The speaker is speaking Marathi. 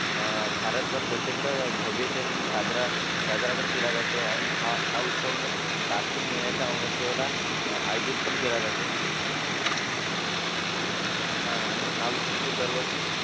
भारतभर प्रचंड भव्यतेने म्हणजे साजरा साजरापण केला जातो आणि हा उत्सव म्हणजे कार्तिक महिन्याच्या अमावासेला आयोजित पण केला जातो आणि हा उत्सव म्हणजे दरवर्षी